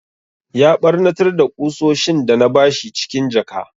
Ya ɓarnatar da ƙusoshin da na bashi cikin jaka.